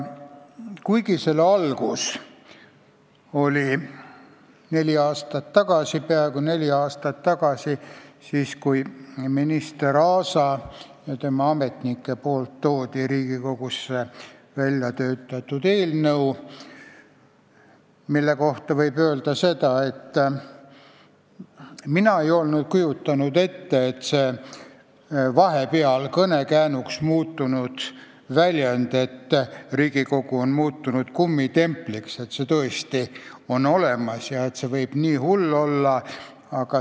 Kuigi selle algus oli peaaegu neli aastat tagasi – siis, kui minister Arto Aas ja tema ametnikud tõid Riigikogusse väljatöötatud eelnõu –, ei kujutanud mina küll ette, et see vahepeal kõnekäänuks muutunud nähtus "Riigikogu on muutunud kummitempliks" on tõesti olemas ja et see võib nii hull olla.